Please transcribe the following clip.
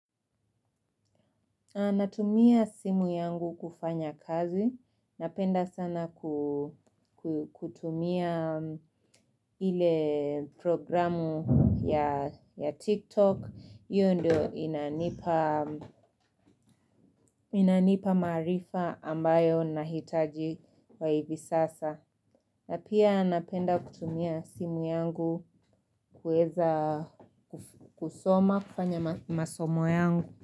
Na natumia simu yangu kufanya kazi, napenda sana kutumia ile programu ya TikTok, io ndio inanipa inanipa maarifa ambayo ninahitaji kwa ivi sasa. Na pia napenda kutumia simu yangu kueza kusoma, kufanya masomo yangu.